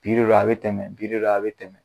Bi de don a be tɛmɛ bi de don a be tɛmɛ